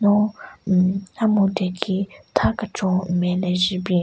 No hhmm a-myudhu ki tha kechon nme le je bin.